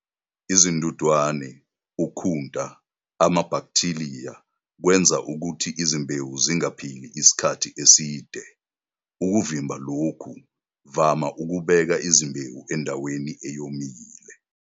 Izindudwane, ukhunta, namabhakithiliya kwenza ukuthi izimbewu zingaphili isikhathi eside. Ukuvimba lokhu, vama ukubeka izimbewu endaweni eyomile.